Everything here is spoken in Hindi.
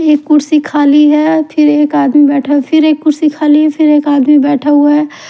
एक कुर्सी खाली है फिर एक आदमी बेठा है फिर एक कुर्सी खाली है फिर एक आदमी बेठा हुआ है।